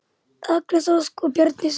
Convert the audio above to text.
Agnes Ósk og Bjarney Sif.